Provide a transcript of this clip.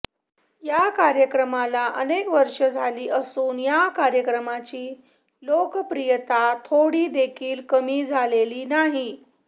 या कार्यक्रमाला अनेक वर्षं झाली असून या कार्यक्रमाची लोकप्रियता थोडी देखील कमी झालेली नाही